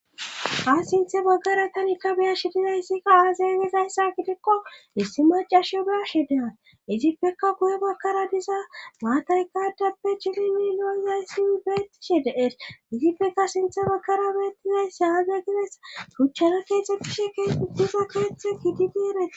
ha sinthe baggara tanikka beyashi dizayssika aazay gezayssa gidikko issi macashio baashe dean izippekka guye bakkara diza maataykadappe chilinni noizayssii beettishe deer izipeka sinthe bagkara beettizayssa aaza gides buchana keexxetishe kee uddiza keexhthe gididi ere